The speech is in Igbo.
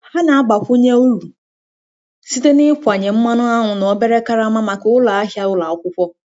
Ha na-agbakwunye uru site na ịkwanye mmanụ aṅụ na obere karama maka ụlọ ahịa ụlọ akwụkwọ.